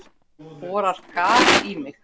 Borar gat í mig.